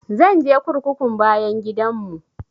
Zan je kurkukun bayan gidan mu